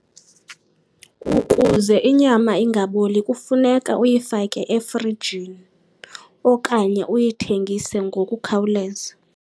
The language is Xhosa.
Ukuze inyama ingaboli kufuneka uyifake efrijini okanye uyithengise ngokukhawuleza.